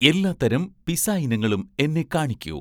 എല്ലാത്തരം പിസ്സ ഇനങ്ങളും എന്നെ കാണിക്കൂ